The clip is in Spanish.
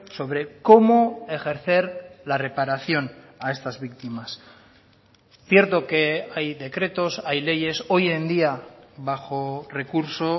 sobre cómo ejercer la reparación a estas víctimas cierto que hay decretos hay leyes hoy en día bajo recurso